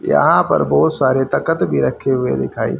यहां पर बहोत सारे तख्त भी रखे हुए दिखाई--